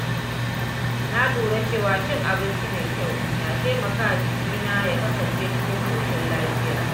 Na lura cewa cin abinci mai kyau na taimaka wa jikina ya kasance cikin ƙoshin lafiya.